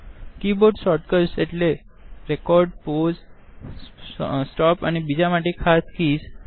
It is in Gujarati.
કીબોર્ડ શોર્ટકટ એટલે રેકોર્ડ પૌસે સ્ટોપ અને રેસ્ટ આ હોટ કીઝ છે